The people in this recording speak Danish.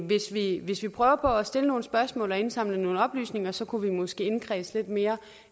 hvis vi hvis vi prøver på at stille nogle spørgsmål og indsamle nogle oplysninger så kunne vi måske indkredse lidt mere